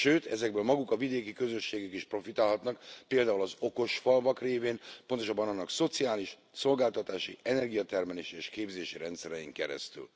Sőt, ezekből maguk a vidéki közösségek is profitálhatnak, például az okos falvak révén, pontosabban annak szociális, szolgáltatási, energiatermelési és képzési rendszerein keresztül.